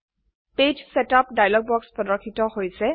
পৃষ্ঠা setup dialog বাক্স প্রদর্শিত হৈছে